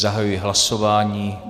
Zahajuji hlasování.